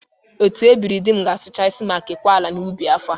Otu ebiri dị m ga-asụchasi ma kekwa ala ubi n'afọ a.